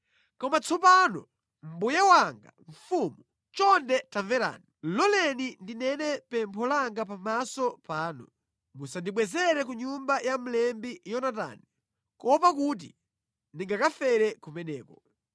Koma tsopano, mbuye wanga mfumu, chonde tamverani. Loleni ndinene pempho langa pamaso panu: Musandibwezere ku nyumba ya mlembi Yonatani, kuopa kuti ndingakafere kumeneko.”